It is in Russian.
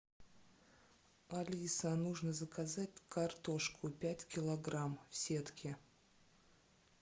алиса нужно заказать картошку пять килограмм в сетке